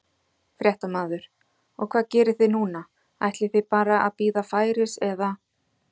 Fréttamaður: Og hvað gerið þið núna, ætlið þið bara að bíða færis eða?